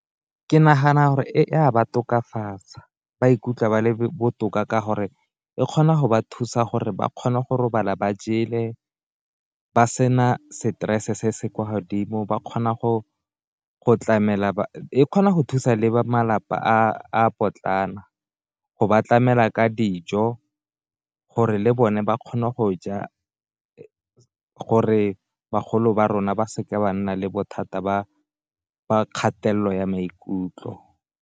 Ke nagana gore e ka ba tokafatsa ba ikutlwa ba le botoka ka gore e kgona go ba thusa gore ba kgona go robala ba jele, ba sena stress se se kwa godimo ba kgona go go tlamela, e kgona go thusa le malapa a potlana go ba tlamela ka dijo gore le bone ba kgona go ja gore bagolo ba rona ba seka ba nna le bothata ba kgatelelo ya maikutlo.